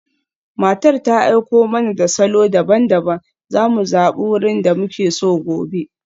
Matar ta aiko mana da salo daban-daban, za mu zabi wurin da muke so gobe.